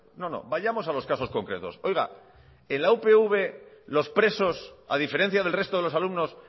no no vayamos a los casos concretos oiga en la upv los presos a diferencia del resto de los alumnos